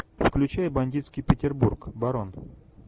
включай бандитский петербург барон